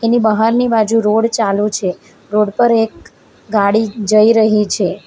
એની બહારની બાજુ રોડ ચાલુ છે રોડ પર એક ગાડી જઈ રહી છે.